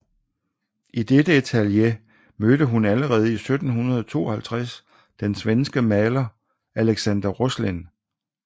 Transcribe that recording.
I dette atelier mødte hun allerede i 1752 den svenske maler Alexander Roslin